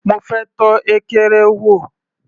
Mo fẹ́ tọ́ ekere wò.